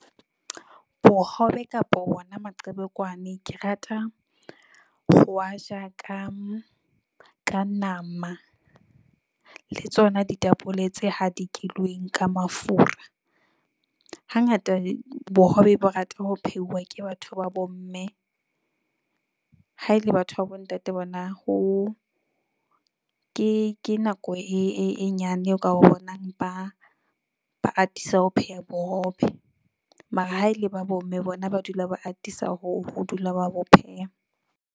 Bohobe kapa wona maqhebekwane, ke rata ho aja ka ka nama le tsona ditapole tse hadikilweng ka mafura. Hangata bohobe bo rata ho pheuwa ke batho ba bomme, ha e le batho ba bontate bona ho, ke ke nako e nyane o ka ba bonang, ba ba atisa ho pheha bohobe. Mara ha ele ba bomme bona ba dula ba atisa ho ho dula, ba bo pheha.